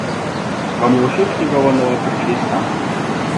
Vam je všeč njegova nova pričeska?